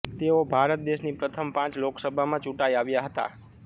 તેઓ ભારત દેશની પ્રથમ પાંચ લોકસભામાં ચુંટાઈ આવ્યા હતા